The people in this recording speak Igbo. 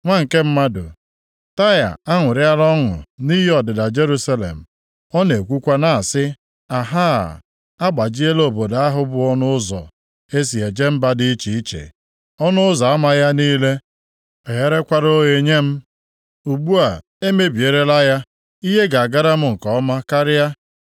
“Nwa nke mmadụ, Taịa aṅụrịala ọṅụ nʼihi ọdịda Jerusalem. Ọ na-ekwukwa na-asị, ‘Ahaa, agbajiela obodo ahụ bụ ọnụ ụzọ e si eje mba dị iche iche. Ọnụ ụzọ ama ya niile egherekwala oghe nye m. Ugbu a, e mebirila ya, ihe ga-agara m nke ọma karịa.’